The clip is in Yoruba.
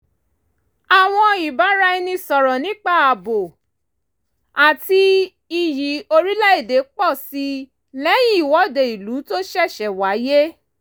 àwọn ìbára ẹni sọ̀rọ̀ nípa ààbò àti iyì orílẹ̀ èdè pọ̀ sí i lẹ́yìn ìwọ́de ìlú tó ṣẹ̀ṣẹ̀ wáyé